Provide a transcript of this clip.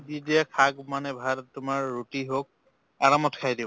দি দিয়ে শাক মানে তোমাৰ ৰুটি হওক আৰামত খাই দিওঁ